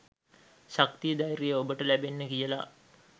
ශක්තිය ධෛර්යය ඔබට ලැබෙන්න කියල